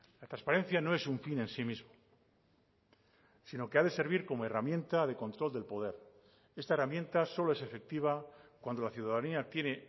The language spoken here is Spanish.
la transparencia no es un fin en sí mismo sino que ha de servir como herramienta de control del poder esta herramienta solo es efectiva cuando la ciudadanía tiene